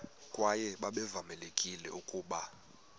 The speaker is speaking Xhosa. kwaye babevamelekile ukuba